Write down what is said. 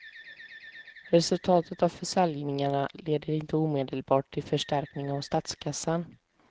Resultatet av försäljningarna leder inte omedelbart till förstärkning av statskassan.